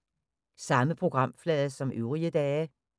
Samme programflade som øvrige dage